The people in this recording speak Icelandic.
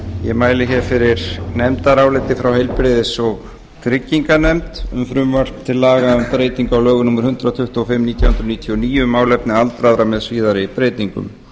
ég mæli hér fyrir nefndaráliti frá heilbrigðis og trygginganefnd um frumvarp til laga um breytingu á lögum númer hundrað tuttugu og fimm nítján hundruð níutíu og níu um málefni aldraðra með síðari breytingum